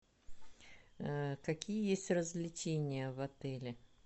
какие есть развлечения в отеле